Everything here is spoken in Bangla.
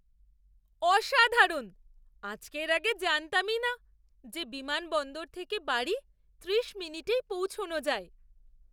অসাধারণ! আজকের আগে জানতামই না যে বিমানবন্দর থেকে বাড়ি ত্রিশমিনিটেই পৌঁছানো যায়।